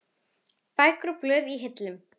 Bækur og blöð í hillum.